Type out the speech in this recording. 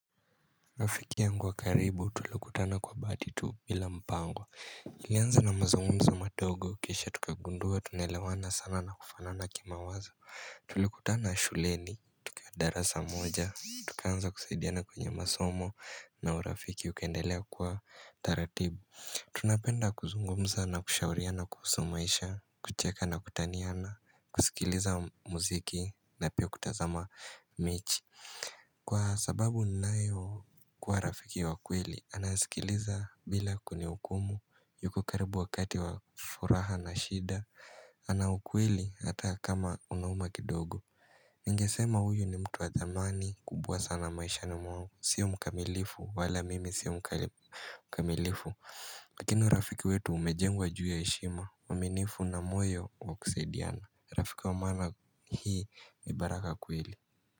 Rafiki ya ngu wa karibu tulikutana kwa bahatitu bila mpango Ilianza na mazungumzu madogo kisha tukagundua tunaelewana sana na kufanana kima wazo Tulikutana shuleni tukiwa darasa moja Tukaanza kusaidiana kwenye masomo na urafiki ukaendelea kwa taratibu Tunapenda kuzungumza na kushauria na kuhusumaisha kucheka na kutaniana kusikiliza muziki na pia kutazama mechi Kwa sababu ninayo kwa rafiki wa kweli anasikiliza bila kunih ukumu yuko karibu wakati wa furaha na shida ana ukweli ata kama unauma kidogo Ningesema huyu ni mtu wa dhamani kubwa sana maisha ni mwangu sio mkamilifu wala mimi sio mkamilifu lakini u rafiki wetu umejengwa juu ya heshima uaminifu na moyo wakusaidiana rafiki wa maana hii ni baraka kweli.